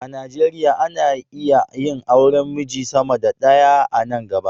A Nigeriya ana iya yin auren miji sama da ɗaya a nan gaba.